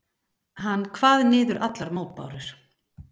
Hann kvað niður allar mótbárur.